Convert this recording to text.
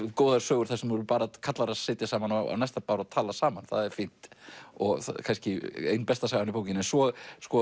góðar sögur þar sem eru bara karlar að sitja saman á næsta bar og tala saman það er fínt og kannski ein besta sagan í bókinni svo